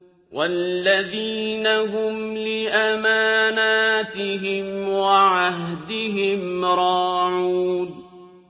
وَالَّذِينَ هُمْ لِأَمَانَاتِهِمْ وَعَهْدِهِمْ رَاعُونَ